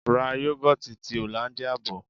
Ra Yogoti ti Hollandia bò.